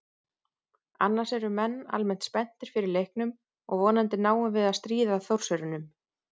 Annars eru menn almennt spenntir fyrir leiknum og vonandi náum við að stríða Þórsurunum.